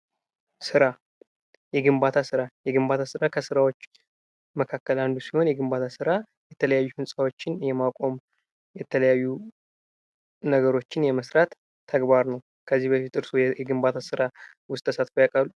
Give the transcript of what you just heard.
ሥራ የግንባታ ሥራ የግንባታ ሥራ ከሰዎች መካከል አንዱ ሲሆን፤ የግንባታ ሥራ የተለያዩ ህንፃዎችን የማቆም የተለያዩ ነገሮችን የመስራት ተግባር ነው። ከዚህ በፊት እርስዎ የግንባታ ሥራ ውስጥ ተሳትፈው ያውቃሉ?